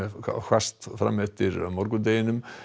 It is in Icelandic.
allhvasst fram eftir morgundeginum